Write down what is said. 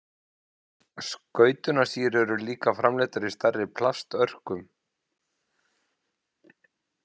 Skautunarsíur eru líka framleiddar í stærri plastörkum.